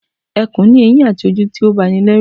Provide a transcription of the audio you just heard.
Ẹkùn ni eyin àti ojú tí ó ba ni lérù